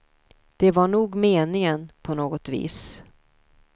Det var nog meningen, på något vis.